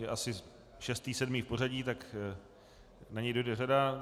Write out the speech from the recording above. Je asi šestý sedmý v pořadí, tak na něj dojde řada.